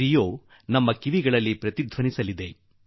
ರಿಯೋ ನಮ್ಮ ಕಿವಿಗಳಲ್ಲಿ ಪದೇಪದೆ ಗುಂ0iÀiï ಗುಡಲಿದೆ